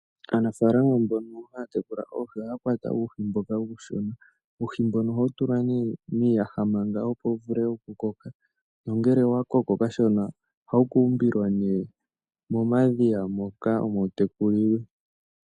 Aanafalama mbono hatekula oohii ohakwata uuhi mboka uushona , uuhi mbono ohawutulwa ne miiyaha maka opo yuvule oku koka, nongele owakoko kashona oha wukumbilwa ne momadhiya moka omo wutekulilwe.